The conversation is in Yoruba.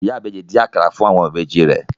Ìyá ìbejì dín akara fún àwọn ìbejì rẹ̀